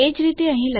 એજ રીતે અહીં